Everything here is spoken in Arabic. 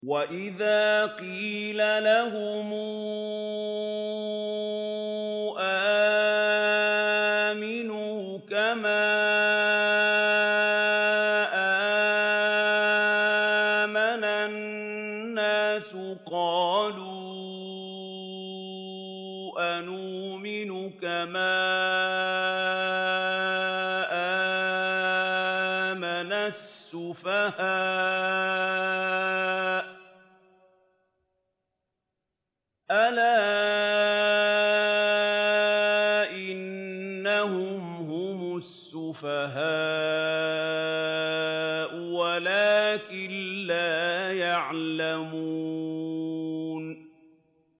وَإِذَا قِيلَ لَهُمْ آمِنُوا كَمَا آمَنَ النَّاسُ قَالُوا أَنُؤْمِنُ كَمَا آمَنَ السُّفَهَاءُ ۗ أَلَا إِنَّهُمْ هُمُ السُّفَهَاءُ وَلَٰكِن لَّا يَعْلَمُونَ